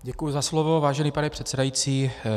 Děkuji za slovo, vážený pane předsedající.